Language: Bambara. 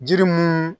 Jiri mun